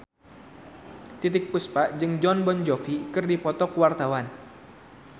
Titiek Puspa jeung Jon Bon Jovi keur dipoto ku wartawan